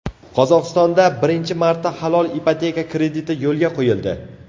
Qozog‘istonda birinchi marta halol ipoteka krediti yo‘lga qo‘yildi.